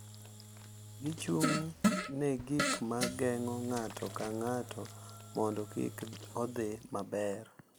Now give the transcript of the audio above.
Gichung’ ne gik ma geng’o ng’ato ka ng’ato mondo kik odhi maber,